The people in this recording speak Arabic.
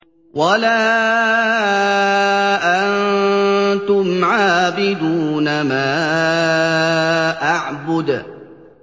وَلَا أَنتُمْ عَابِدُونَ مَا أَعْبُدُ